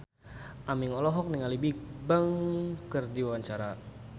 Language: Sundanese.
Aming olohok ningali Bigbang keur diwawancara